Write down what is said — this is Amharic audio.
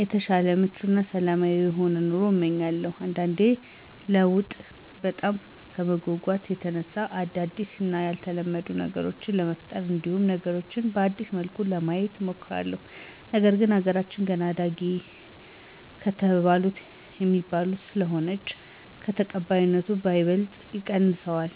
የተሻለ ምቹ እና ሰላማዊ የሆነ ኑሮን እመኛለሁ። አንዳንዴ ለለውጥ በጣም ከመጎጎት የተነሳ አዳዲስ እና ያልተለመዱ ነገሮችን ለመፍጠር እንዲሁም ነገሮችን በአዲስ መልኩ ለማየት እሞክራለሁ፤ ነገር ግን አገራችን ገና አዳጊ አገራተ ከሚባሉት ስለሆነች ተቀባይነቱን በይበልጥ ይቀንሰዋል